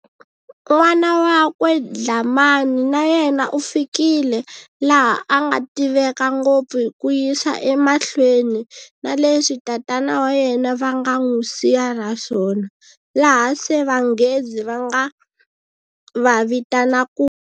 N'wana wakwe Dlhamani na yena u fikile laha a nga tiveka ngopfu hi ku yisa emahlweni na leswi tatana wa yena va nga n'wu siya na swona, laha se vanghezi va nga va vitana ku.